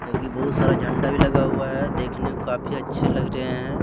बहुत सारा झंडा भी लगा हुआ है देखने को काफी अच्छे लग रहे हैं।